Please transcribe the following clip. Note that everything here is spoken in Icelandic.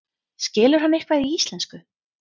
Skilur hann eitthvað í íslensku?